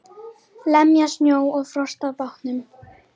Lemja snjó og frost af bátnum.